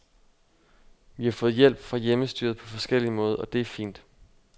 Vi har fået hjælp fra hjemmestyret på forskellig måde, og det er fint.